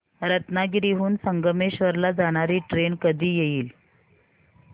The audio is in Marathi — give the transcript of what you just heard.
रत्नागिरी हून संगमेश्वर ला जाणारी ट्रेन कधी येईल